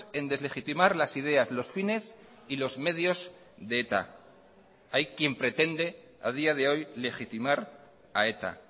en deslegitimar las ideas los fines y los medios de eta hay quien pretende a día de hoy legitimar a eta